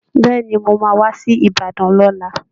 Bẹ́ẹ̀ ni, mo máa wá sí Ìbàdàn lọ́la